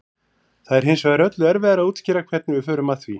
það er hins vegar öllu erfiðara að útskýra hvernig við förum að því